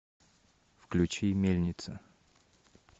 включи мельница